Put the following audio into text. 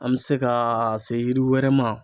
An bi se ka se yiri wɛrɛ ma.